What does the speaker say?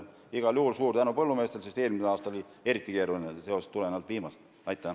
Igal juhul suur tänu põllumeestele, sest eelmine aasta oli vihma tõttu eriti keeruline.